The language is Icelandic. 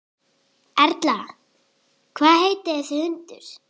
Erla: Hvað heitir þessi hundur?